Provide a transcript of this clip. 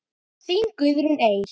Þín Guðrún Eir.